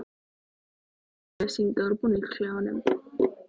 Ég fer alltaf rakleiðis hingað úr búningsklefanum.